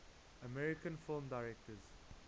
american film directors